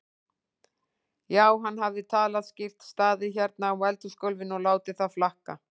Já, hann hafði talað skýrt, staðið hérna á eldhúsgólfinu og látið það flakka.